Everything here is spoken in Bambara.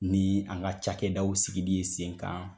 Ni an ka cakɛdaw sigidi ye sen kan